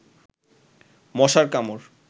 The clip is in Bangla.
মশার কামড়